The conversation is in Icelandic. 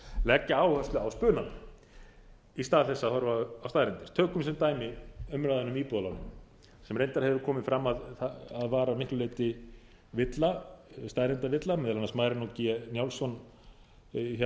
leggja áherslu á spunann í stað þess að horfa á staðreyndir tökum sem dæmi umræðuna um íbúðalánin sem reyndar hefur komið fram að var að miklu leyti villa staðreyndavilla meðal annars marinó g njálsson hjá hagsmunasamtökum heimilanna hefur bent